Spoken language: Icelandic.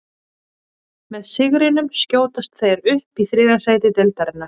Með sigrinum skjótast þeir upp í þriðja sæti deildarinnar.